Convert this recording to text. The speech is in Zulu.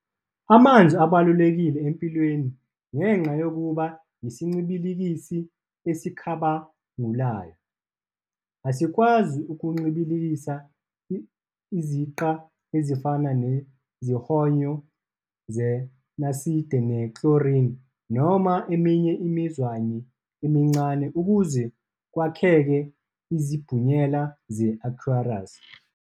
Amanzi abalulekile empilweni ngenxa yokuba yisincibilikisi esikhabangulayo, esikwazi ukuncibilikisa iziqa ezifana nezihonyo zeNaside ne "chloride" noma eminye imizwayi emincane ukuze kwakheke izibhunyela ze "aqueous".